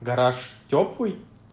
гараж тёплый